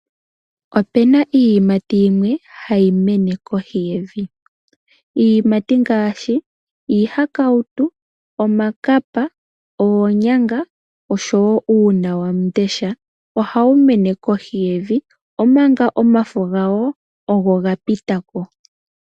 Opena iiyimati yimwe hayi mene kohi yevi. Iiyimati ngaashi iihakawutu, omakapa, oonyanga oshowo uunawandesha ohawu mene kohi yevi omanga omafo gawo oga pitako.